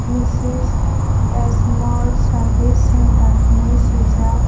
massage smol service center henai sijaak.